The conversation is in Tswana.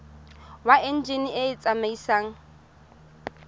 wa enjine e e tsamaisang